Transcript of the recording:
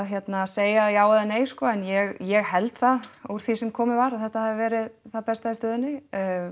segja alveg já eða nei en ég held það úr því sem komið var að þetta hafi verið það besta í stöðunni